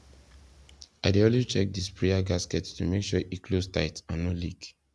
i dey always check the sprayer gasket to make sure e close tight and no leak